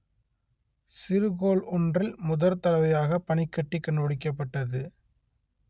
சிறுகோள் ஒன்றில் முதற்தடவையாக பனிக்கட்டி கண்டுபிடிக்கப்பட்டது